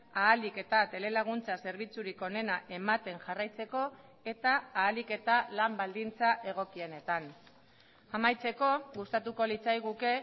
ahalik eta telelaguntza zerbitzurik onena ematen jarraitzeko eta ahalik eta lan baldintza egokienetan amaitzeko gustatuko litzaiguke